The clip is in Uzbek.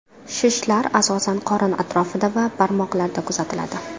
Shishlar asosan qorin atrofida va barmoqlarda kuzatiladi.